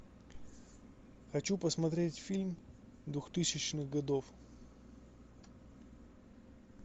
хочу посмотреть фильм двухтысячных годов